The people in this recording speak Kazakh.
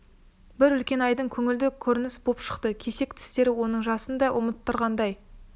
бір үлкен айдын көңілді көрініс боп шықты кесек тістері оның жасын да ұмыттырғандай